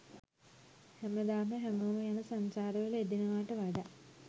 හැමදාම හැමෝම යන සංචාර වල යෙදෙනවාට වඩා